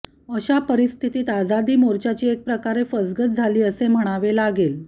अशा परिस्थितीत आजादी मोर्चाची एक प्रकारे फसगत झाली असे म्हणावे लागेल